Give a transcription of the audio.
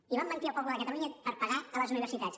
i van mentir al poble de catalunya per pagar a les universitats